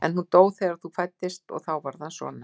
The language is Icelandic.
En hún dó þegar þú fæddist og þá varð hann svona.